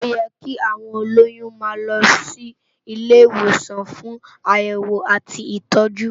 Óyè ki áwón ólóyùn má lò si ilé iwósàn fún àyèwó àtí itòjú